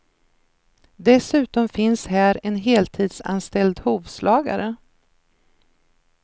Dessutom finns här en heltidsanställd hovslagare.